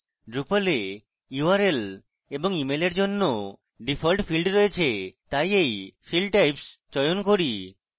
drupal we url এবং email এর জন্য ডিফল্ট fields রয়েছে তাই এই field types চয়ন করেছি